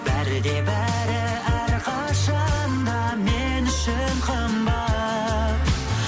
бәрі де бәрі әрқашан да мен үшін қымбат